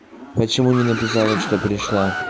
почему не написала что пришла